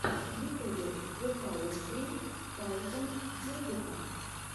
в ютубе зэпауэрс ссри таузенд музыка